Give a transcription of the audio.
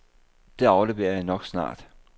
Det afleverer jeg nok snart.